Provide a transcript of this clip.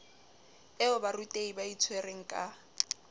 eo barutehi ba itshwereng ka